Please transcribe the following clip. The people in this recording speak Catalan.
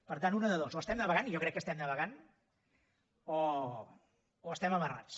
per tant una de dues o estem navegant i jo crec que estem navegant o estem amarrats